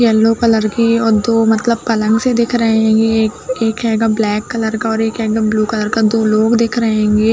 Yellow colour की और दो मतलब पलंग सी दिख रही हेंगी। एक एक हेगा ब्लैक कलर का और एक हेगा ब्लू कलर का। दो लोग दिख रहे हेंगे।